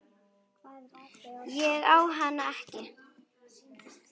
Ég á hana ekki.